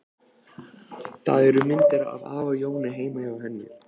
Það eru myndir af afa Jóni heima hjá henni.